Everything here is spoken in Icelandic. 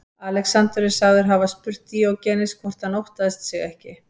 Alexander er sagður hafa spurt Díógenes hvort hann óttaðist sig ekki.